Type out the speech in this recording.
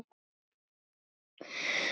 Þannig var Maggi.